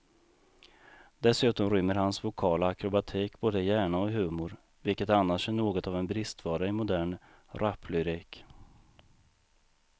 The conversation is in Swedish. Dessutom rymmer hans vokala akrobatik både hjärna och humor, vilket annars är något av en bristvara i modern raplyrik.